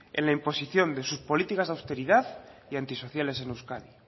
en la imposición de sus políticas de austeridad y antisociales en euskadi